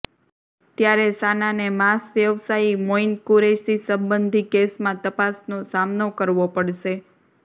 ત્યારે સાનાને માંસ વ્યવસાયી મોઈન કુરૈશી સંબંધી કેસમાં તપાસનો સામનો કરવો પડશે